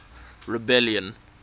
rebellion